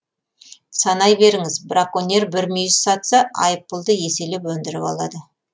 санай беріңіз браконьер бір мүйіз сатса айыппұлды еселеп өндіріп алады